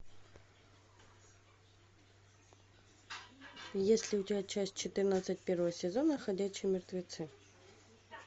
есть ли у тебя часть четырнадцать первого сезона ходячие мертвецы